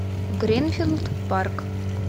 гринфилд парк